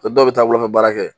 O dɔw bɛ taa wulafɛ baara kɛ